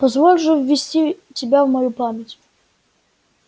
позволь же ввести тебя в мою память